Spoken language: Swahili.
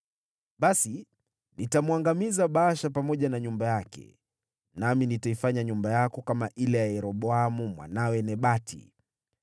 Basi nitamwangamiza Baasha pamoja na nyumba yake, nami nitaifanya nyumba yako kama ile ya Yeroboamu mwanawe Nebati.